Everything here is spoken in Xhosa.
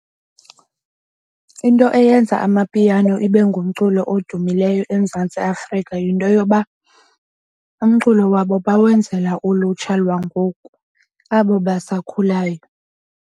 Into eyenza Amapiano ibe ngumculo odumileyo eMzantsi Afrika yinto yoba umculo wabo bawenzela ulutsha lwangoku abo basakhulayo.